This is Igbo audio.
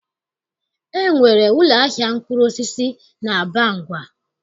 E nwere ụlọahịa mkpụrụosisi n'Abangwa